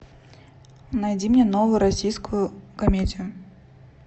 найди мне новую российскую комедию